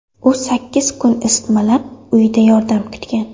U sakkiz kun isitmalab, uyida yordam kutgan.